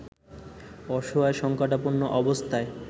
অসহায় সঙ্কটাপন্ন অবস্থায়